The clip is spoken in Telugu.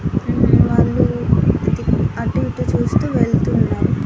మ్మ్ వాళ్ళు అది అటు ఇటు చూస్తూ వెళ్తున్నారు.